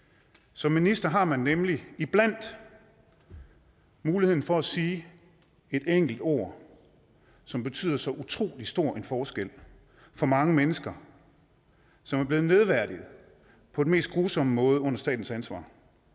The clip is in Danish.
som minister har man nemlig iblandt muligheden for at sige et enkelt ord som betyder så utrolig stor en forskel for mange mennesker som er blevet nedværdiget på den mest grusomme måde under statens ansvar